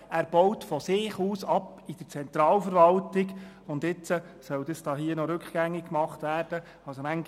Er baut von sich aus in der Zentralverwaltung ab, und das soll jetzt rückgängig gemacht werden!